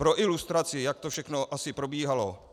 Pro ilustraci, jak to všechno asi probíhalo.